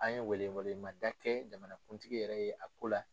An ye wele wele mada kɛ jamana kuntigi yɛrɛ ye a ko la.